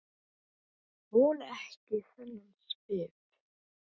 Þoli ekki þennan svip.